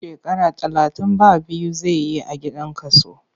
Shekara talatin ba biyu zai yi a gidan kaso.